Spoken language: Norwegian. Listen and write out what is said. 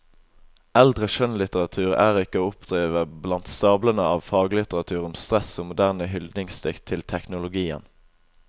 Eldre skjønnlitteratur er ikke å oppdrive blant stablene av faglitteratur om stress og moderne hyldningsdikt til teknologien.